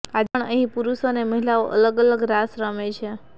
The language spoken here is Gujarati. આજે પણ અહીં પુરુષો અને મહિલાઓ અલગ અલગ રાસ રમે છે